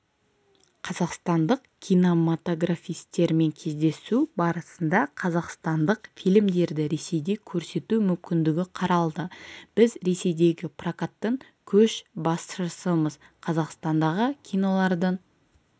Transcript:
қазақстандық кинематографистермен кездесу барысында қазақстандық фильмдерді ресейде көрсету мүмкіндігі қаралды біз ресейдегі прокаттың көшбасшысымыз қазақстандағы кинолардың